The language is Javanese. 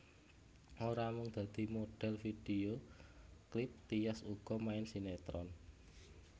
Ora mung dadi modhél video klip Tyas uga main sinetron